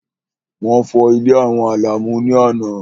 Wọ́n fọ́ ilé àwọn Àlàmú ní àná.